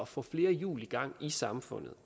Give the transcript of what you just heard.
få flere hjul i gang i samfundet